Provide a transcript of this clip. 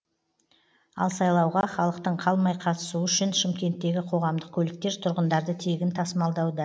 ал сайлауға халықтың қалмай қатысуы үшін шымкенттегі қоғамдық көліктер тұрғындарды тегін тасымалдауда